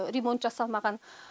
ремонт жасалмаған